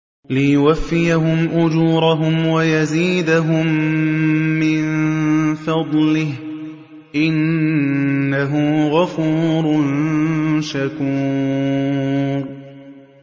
لِيُوَفِّيَهُمْ أُجُورَهُمْ وَيَزِيدَهُم مِّن فَضْلِهِ ۚ إِنَّهُ غَفُورٌ شَكُورٌ